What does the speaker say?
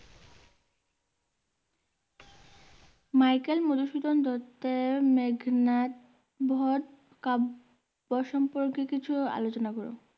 Michael Madhusudan দত্তের মেঘনাদ বধ কাব্য সম্পর্কে কিছু আলোচনা করো।